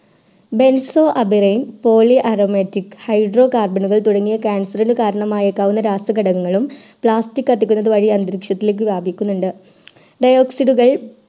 benzo a pyrene poly aromatic carbon കൾ തുടങ്ങിയ cancer നു കരണമായ്ക്കാവുന്ന രസകടകങ്ങളും plastic കത്തിക്കുന്ന വഴി അന്തരീക്ഷത്തിലേക് വ്യാപിക്കുന്നുണ്ട് dioxide കൾ